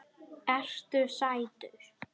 Ertu sætur?